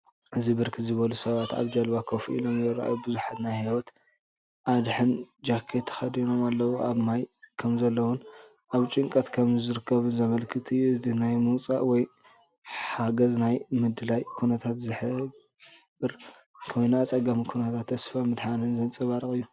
እዚ ብርክት ዝበሉ ሰባት ኣብ ጃልባ ኮፍ ኢሎም ይረኣዩ። ብዙሓት ናይ ህይወት ኣድሕን ጃኬት ተኸዲኖምኣለው። ኣብ ማይ ከምዘለዉን ኣብ ጭንቀት ከምዝርከቡን ዘመልክት እዩ። እዚ ናይ ምውጻእ ወይ ሓገዝናይ ምድላይ ኩነታት ዝሕብር ኮይኑ ኣጸጋሚ ኩነታትን ተስፋ ምድሓንን ዘንጸባርቕ እዩ።